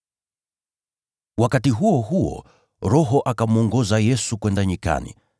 Wakati huo huo, Roho akamwongoza Yesu kwenda nyikani,